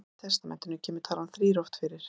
Í Gamla testamentinu kemur talan þrír oft fyrir.